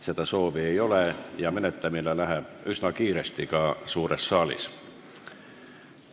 Seda soovi ei ole ja menetlemine läheb üsna kiiresti ka suures saalis.